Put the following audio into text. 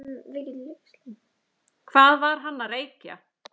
Hvað var hann að reykja?